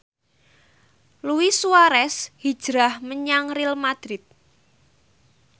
Luis Suarez hijrah menyang Real madrid